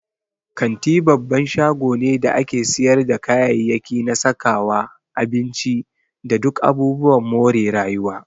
Kanti babban shago ne da ake siyarda kayayyaki na sakawa, abinci, da duk abubuwan more rayuwa.